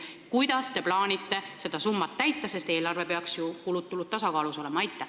Kuidas te plaanite seda eesmärki täita, sest eelarves peaks ju kulud ja tulud tasakaalus olema?